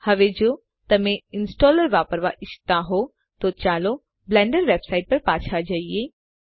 હવે જો તમે ઈંસ્ટોલર વાપરવા ઈચ્છતા હોવ તો ચાલો બ્લેન્ડર વેબસાઈટ પર પાછા જઈએ